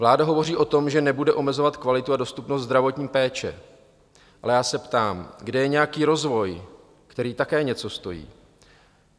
Vláda hovoří o tom, že nebude omezovat kvalitu a dostupnost zdravotní péče, ale já se ptám: Kde je nějaký rozvoj, který také něco stojí?